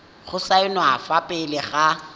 go saenwa fa pele ga